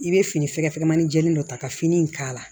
I bɛ fini fɛ maani jɛlen dɔ ta ka fini k'a la